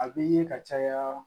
A bɛ ye ka caya